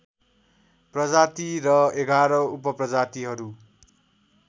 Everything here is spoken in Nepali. प्रजाति र ११ उपप्रजातिहरू